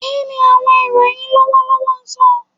Kini awọn iroyin lọwọlọwọ sọ?